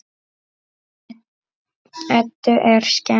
Eddu er skemmt.